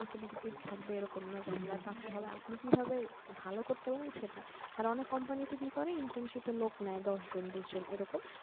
থাকবে, এরকম না যে আপনার পারতে হবে। আপনি কিভাবে ভালো করতে পারেন সেটা আর অনেক company তে কি করে internship এর লোক নেয় দশজন বিশজন এরকম